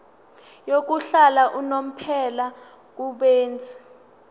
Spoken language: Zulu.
yokuhlala unomphela kubenzi